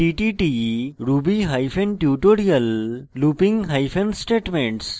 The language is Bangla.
ttt ruby hyphen tutorial looping hyphen statements